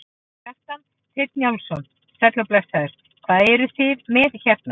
Kjartan Hreinn Njálsson: Sæll og blessaður, hvað eruð þið með hérna?